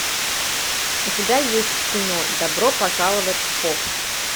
у тебя есть кино добро пожаловать в поп